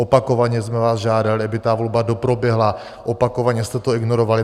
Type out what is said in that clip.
Opakovaně jsme vás žádali, aby ta volba doproběhla, opakovaně jste to ignorovali.